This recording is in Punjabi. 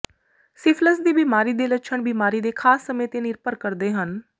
ਸਿਫਿਲਿਸ ਦੀ ਬਿਮਾਰੀ ਦੇ ਲੱਛਣ ਬਿਮਾਰੀ ਦੇ ਖਾਸ ਸਮੇਂ ਤੇ ਨਿਰਭਰ ਕਰਦੇ ਹਨ